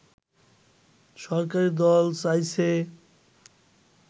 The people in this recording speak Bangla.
সরকারী দল চাইছে